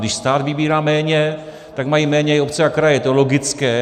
Když stát vybírá méně, tak mají méně i obce a kraje, je to logické.